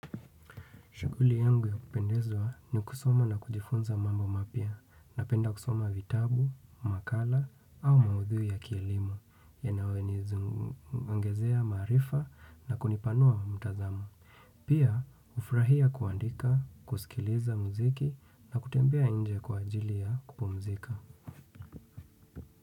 Shughuli yangu ya kupendezwa ni kusoma na kujifunza mambo mapya na penda kusoma vitabu, makala au maudhui ya kielimu yanawe nizuongezea maarifa na kunipanua mtazamo. Pia hufurahia kuandika, kusikiliza muziki na kutembea nje kwa ajili ya kupumzika.